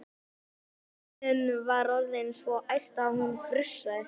Steinunn var orðin svo æst að hún frussaði.